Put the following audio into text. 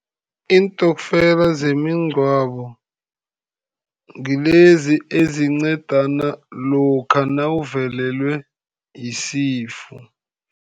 Iintokfela zemigcwabo ngilezi ezincedana lokha nawuvelelwe yisifo.